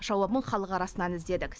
жауабын халық арасынан іздедік